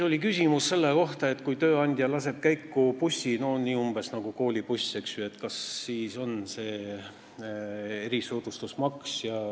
Oli küsimus selle kohta, et kui tööandja laseb käiku bussi, umbes nagu koolibussi, kas siis kehtib erisoodustusmaks.